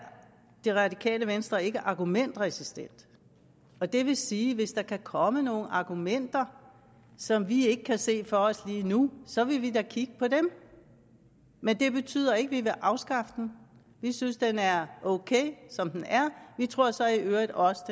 det radikale venstre ikke argumentresistent og det vil sige at hvis der kommer nogle argumenter som vi ikke kan se for os lige nu så vil vi da kigge på dem men det betyder ikke at vi vil afskaffe den vi synes at den er ok som den er vi tror så i øvrigt også